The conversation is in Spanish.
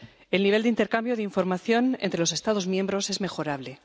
El nivel de intercambio de información entre los Estados miembros es mejorable.